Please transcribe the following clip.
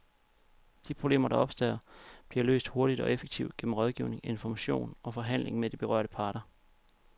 De problemer, der opstår, bliver løst hurtigt og effektivt gennem rådgivning, information og forhandling med de berørte parter.